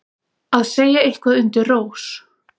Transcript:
Að segja eitthvað undir rós